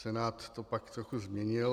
Senát to pak trochu změnil.